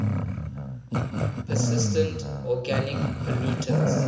persistent organic pollutants